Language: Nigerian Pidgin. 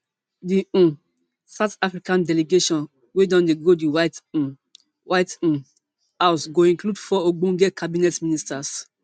di um south africa delegation wey don dey go di white um white um house go include four ogbonge cabinet ministers